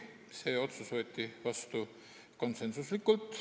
See otsus võeti vastu konsensuslikult.